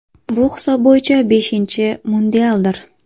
Bu hisob bo‘yicha beshinchi mundialdir.